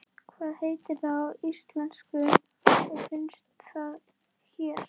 Hvað heitir það á íslensku og finnst það hér?